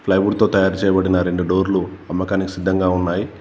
Plywood తో తయారు చేయబడిన రెండు డోర్లు అమ్మకానికి సిద్ధంగా ఉన్నాయి.